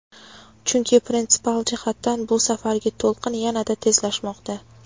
Chunki prinsipial jihatdan bu safargi to‘lqin yanada tezlashmoqda.